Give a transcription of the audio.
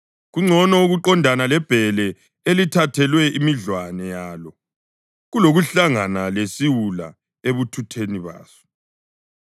Kungcono ukuqondana lebhele elithathelwe imidlwane yalo kulokuhlangana lesiwula ebuthutheni baso.